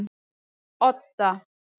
Odda